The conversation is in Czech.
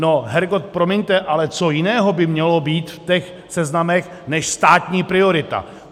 No hergot, promiňte, ale co jiného by mělo být v těch seznamech než státní priorita.